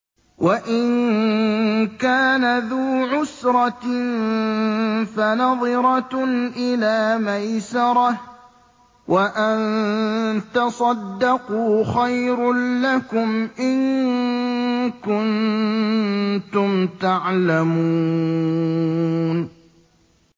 وَإِن كَانَ ذُو عُسْرَةٍ فَنَظِرَةٌ إِلَىٰ مَيْسَرَةٍ ۚ وَأَن تَصَدَّقُوا خَيْرٌ لَّكُمْ ۖ إِن كُنتُمْ تَعْلَمُونَ